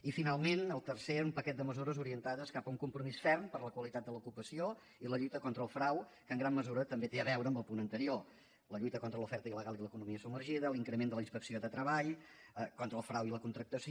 i finalment el tercer era un paquet de mesures orientades cap a un compromís ferm per la qualitat de l’ocupació i la lluita contra el frau que en gran mesura també té a veure amb el punt anterior la lluita contra l’oferta il·legal i l’economia submergida l’increment de la inspecció de treball contra el frau i la contractació